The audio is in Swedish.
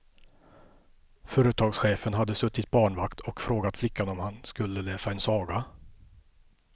Företagschefen hade suttit barnvakt och frågat flickan om han skulle läsa en saga.